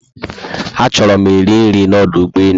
A chọrọ mụ eri nri na ọdụ ugbọelu